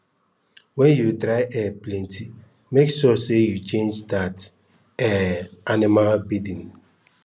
wen dry air plenty make sure say u change that um animals bedding